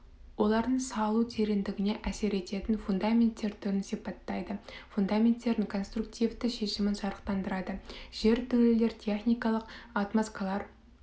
олардың салу тереңдігіне әсер ететін фундаменттер түрін сипаттайды фундаменттердің конструктивті шешімін жарықтандырады жертөлелер техникалық отмосткалар